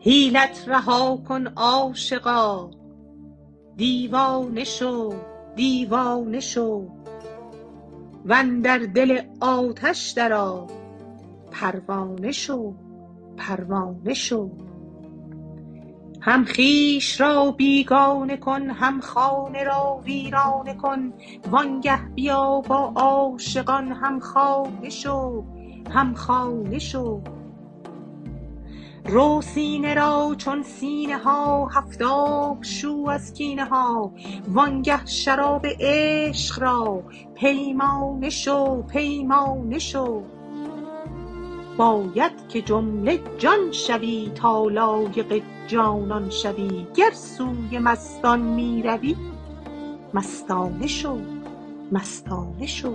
حیلت رها کن عاشقا دیوانه شو دیوانه شو و اندر دل آتش درآ پروانه شو پروانه شو هم خویش را بیگانه کن هم خانه را ویرانه کن وآنگه بیا با عاشقان هم خانه شو هم خانه شو رو سینه را چون سینه ها هفت آب شو از کینه ها وآنگه شراب عشق را پیمانه شو پیمانه شو باید که جمله جان شوی تا لایق جانان شوی گر سوی مستان می روی مستانه شو مستانه شو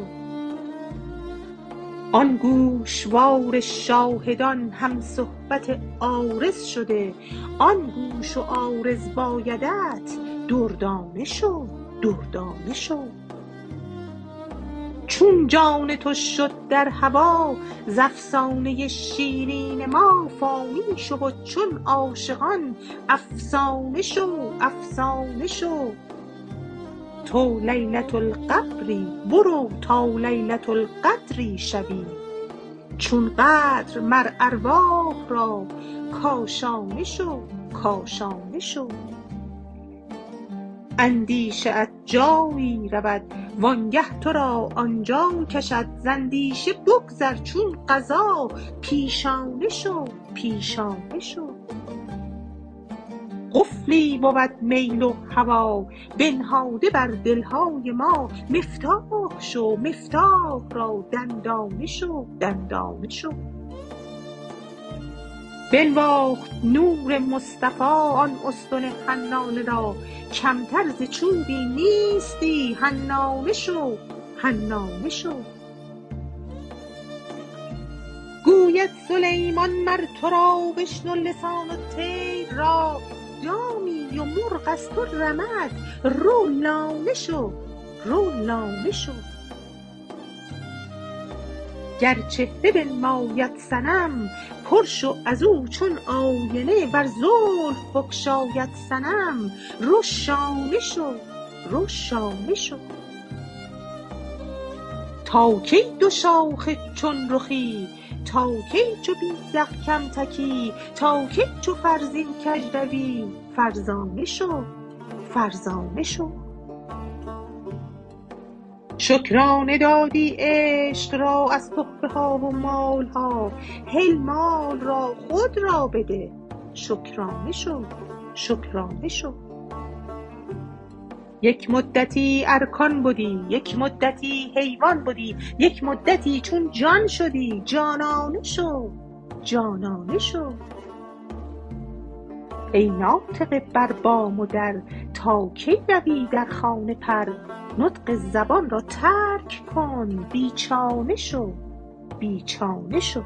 آن گوشوار شاهدان هم صحبت عارض شده آن گوش و عارض بایدت دردانه شو دردانه شو چون جان تو شد در هوا ز افسانه ی شیرین ما فانی شو و چون عاشقان افسانه شو افسانه شو تو لیلة القبری برو تا لیلة القدری شوی چون قدر مر ارواح را کاشانه شو کاشانه شو اندیشه ات جایی رود وآنگه تو را آن جا کشد ز اندیشه بگذر چون قضا پیشانه شو پیشانه شو قفلی بود میل و هوا بنهاده بر دل های ما مفتاح شو مفتاح را دندانه شو دندانه شو بنواخت نور مصطفی آن استن حنانه را کمتر ز چوبی نیستی حنانه شو حنانه شو گوید سلیمان مر تو را بشنو لسان الطیر را دامی و مرغ از تو رمد رو لانه شو رو لانه شو گر چهره بنماید صنم پر شو از او چون آینه ور زلف بگشاید صنم رو شانه شو رو شانه شو تا کی دوشاخه چون رخی تا کی چو بیذق کم تکی تا کی چو فرزین کژ روی فرزانه شو فرزانه شو شکرانه دادی عشق را از تحفه ها و مال ها هل مال را خود را بده شکرانه شو شکرانه شو یک مدتی ارکان بدی یک مدتی حیوان بدی یک مدتی چون جان شدی جانانه شو جانانه شو ای ناطقه بر بام و در تا کی روی در خانه پر نطق زبان را ترک کن بی چانه شو بی چانه شو